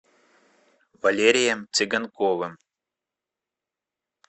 валерием цыганковым